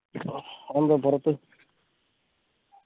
അതെന്തേ പൊറത്